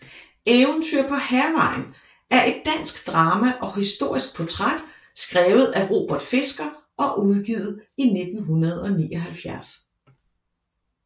Eventyr på Hærvejen er et dansk drama og historisk portræt skrevet af Robert Fisker og udgivet i 1979